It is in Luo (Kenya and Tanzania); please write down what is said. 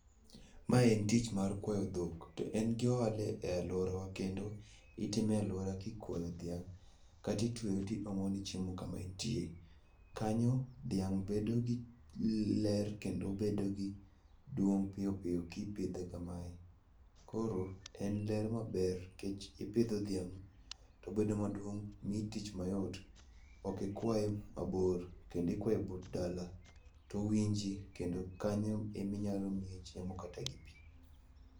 Mae en tich mar kwayo dhok, to en gi ohala e alworawa, kendo itime e alwora kikwayo dhiang' kata itweye tiomo ne chiemo kama entie. Kanyo, dhiang' bedo gi ler kendo bedo gi duong' piyo piyo kipidhe kamae. Koro en ler maber, nikech ipidho dhiang' tobedo maduong' ,miyi tich mayot, ok ikwaye mabor kendo ikwaye but dala, towinji, kendo kanyo eminyalo miye chiemo kata gi pi.